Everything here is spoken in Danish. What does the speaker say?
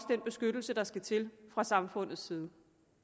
den beskyttelse der skal til fra samfundets side